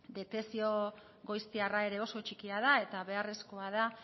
detekzio goiztiarra ere oso txikia da eta beharrezkoa da